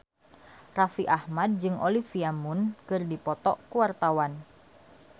Raffi Ahmad jeung Olivia Munn keur dipoto ku wartawan